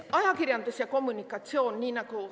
Ajakirjandus ja kommunikatsioon.